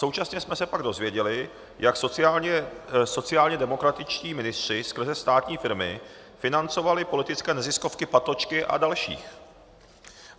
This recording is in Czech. Současně jsme se pak dozvěděli, jak sociálně demokratičtí ministři skrze státní firmy financovali politické neziskovky Patočky a dalších.